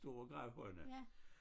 Store gravhøjene